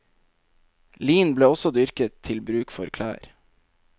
Lin ble også dyrket til bruk for klær.